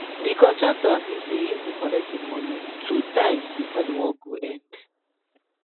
de contractor agree say him go colet him money two times before the work go end